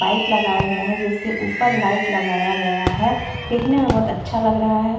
Pipe लगाए गए हैं जिसके ऊपर लाइट लगाया गया है। देखने मे बोहोत अच्छा लग रहा है।